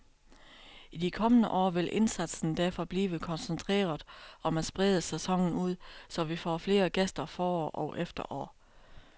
I de kommende år vil indsatsen derfor blive koncentreret om at sprede sæsonen ud, så vi får flere gæster forår og efterår.